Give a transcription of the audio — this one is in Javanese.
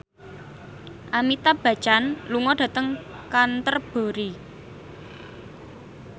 Amitabh Bachchan lunga dhateng Canterbury